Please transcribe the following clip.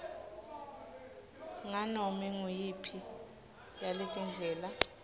nganome nguyiphi yaletindlela